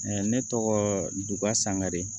ne tɔgɔ duka sangare